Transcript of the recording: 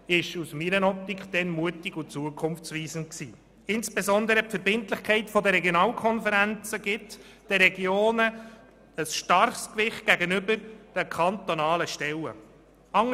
Insbesondere wird den Regionen durch die Verbindlichkeiten der Regionalkonferenzen ein starkes Gewicht gegenüber den kantonalen Stellen verliehen.